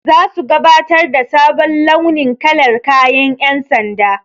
Zasu gabatar da sabon launin kalar kayan ƴan sanda.